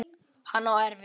Hann á erfitt.